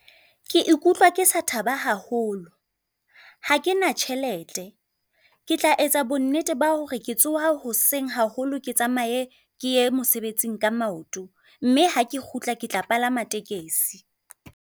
Ke ikutlwa ke sa thaba haholo, ha kena tjhelete. Ke tla etsa bonnete ba hore ke tsoha hoseng haholo ke tsamaye ke ye mosebetsing ka maoto, mme ha ke kgutla ke tla palama tekesi.